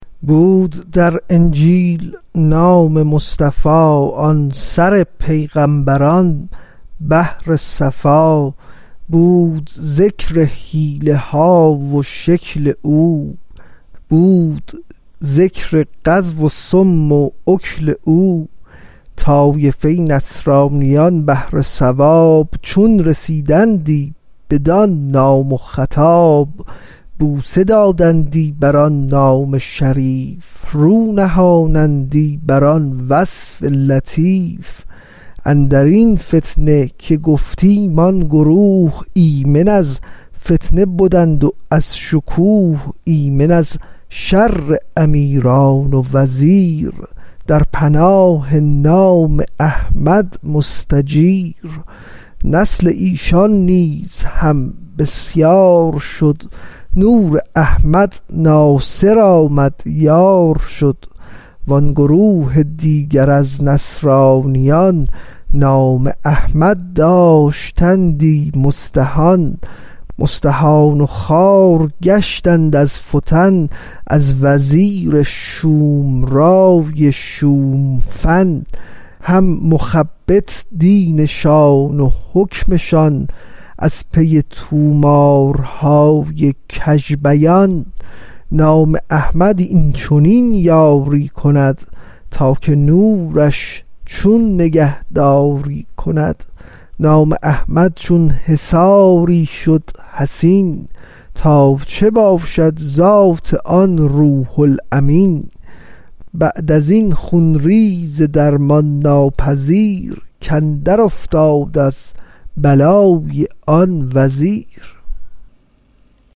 بود در انجیل نام مصطفی آن سر پیغامبران بحر صفا بود ذکر حلیه ها و شکل او بود ذکر غزو و صوم و اکل او طایفه نصرانیان بهر ثواب چون رسیدندی بدان نام و خطاب بوسه دادندی بر آن نام شریف رو نهادندی بر آن وصف لطیف اندرین فتنه که گفتیم آن گروه ایمن از فتنه بدند و از شکوه ایمن از شر امیران و وزیر در پناه نام احمد مستجیر نسل ایشان نیز هم بسیار شد نور احمد ناصر آمد یار شد وان گروه دیگر از نصرانیان نام احمد داشتندی مستهان مستهان و خوار گشتند از فتن از وزیر شوم رای شوم فن هم مخبط دینشان و حکمشان از پی طومارهای کژ بیان نام احمد این چنین یاری کند تا که نورش چون نگهداری کند نام احمد چون حصاری شد حصین تا چه باشد ذات آن روح الامین بعد ازین خون ریز درمان ناپذیر کاندر افتاد از بلای آن وزیر